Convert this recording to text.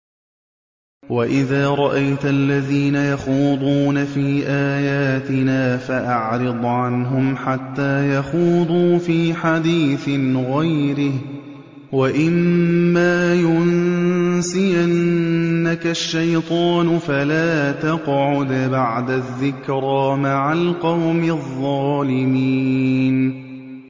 وَإِذَا رَأَيْتَ الَّذِينَ يَخُوضُونَ فِي آيَاتِنَا فَأَعْرِضْ عَنْهُمْ حَتَّىٰ يَخُوضُوا فِي حَدِيثٍ غَيْرِهِ ۚ وَإِمَّا يُنسِيَنَّكَ الشَّيْطَانُ فَلَا تَقْعُدْ بَعْدَ الذِّكْرَىٰ مَعَ الْقَوْمِ الظَّالِمِينَ